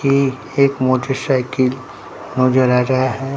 ये एक मोटरसाइकिल नजर आ रहा है।